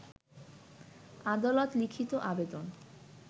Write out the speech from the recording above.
আদালত লিখিত আবেদন